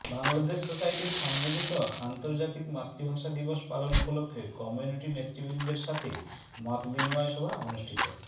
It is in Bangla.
বাংলাদেশ সোসাইটির সম্মিলিত আন্তর্জাতিক মাতৃভাষা দিবস পালন উপলক্ষে কমিউনিটি নেতৃবৃন্দের সাথে মতবিনিময় সভা অনুষ্ঠিত